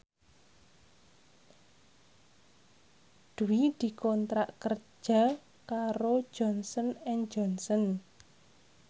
Dwi dikontrak kerja karo Johnson and Johnson